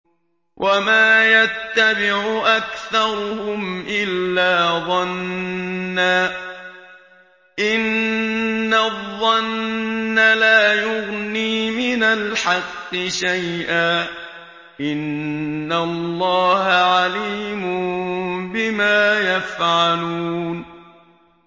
وَمَا يَتَّبِعُ أَكْثَرُهُمْ إِلَّا ظَنًّا ۚ إِنَّ الظَّنَّ لَا يُغْنِي مِنَ الْحَقِّ شَيْئًا ۚ إِنَّ اللَّهَ عَلِيمٌ بِمَا يَفْعَلُونَ